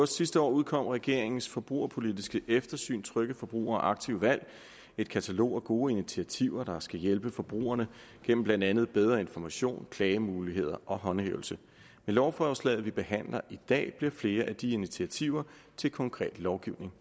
sidste år udkom regeringens forbrugerpolitiske eftersyn trygge forbrugere aktive valg et katalog af gode initiativer der skal hjælpe forbrugerne gennem blandt andet bedre information klagemuligheder og håndhævelse med lovforslaget vi behandler i dag bliver flere af de initiativer til konkret lovgivning